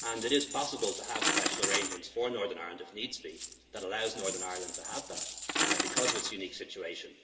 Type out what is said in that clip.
per cent? It's possible to have special arrangements for Northern Ireland, if needs be, that allow Northern Ireland to have that because of its unique